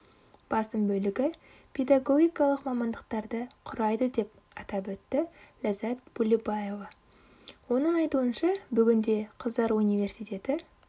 басым бөлігі педагогикалық мамандықтарды құрайды деп атап өтті ляззат булебаева оның айтуынша бүгінде қыздар университеті